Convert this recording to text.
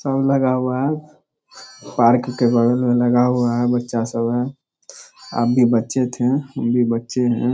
सब लगा हुआ है पार्क के बगल में लगा हुआ है बच्चा सब है आप भी बच्चे थे हम भी बच्चे हैं।